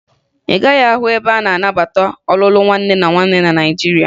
Ị gaghị ahụ ebe a na-anabata ọlụlụ nwanne na nwanne na Naịjirịa